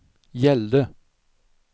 gällde